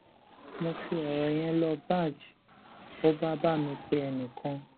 mo fi ọrọ yẹn lọ baj ó bá bá mi pe enìkan